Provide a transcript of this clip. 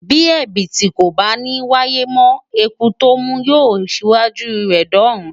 Bí Ẹ̀bìtì kò bá ní wáyé mọ́, Eku tó mú yóò ṣíwájú rẹ̀ dọ́run.